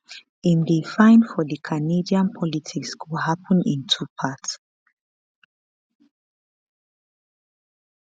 im dey find for di canadian politics go happun in two parts